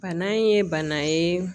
Bana ye bana ye